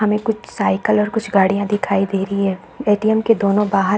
हमें कुछ साईकल और कुछ गाड़ियाँ दिखाई दे रही हैं। ए.टी.एम के दोनों बाहर --